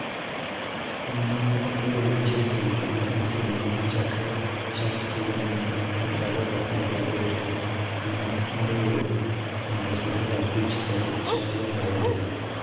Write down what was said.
Auma Mckakeyo en achiel kuom joma osenegi chakre chak higa mar 2017 ma oriwo Miroslava Breach kod Javier Valdez.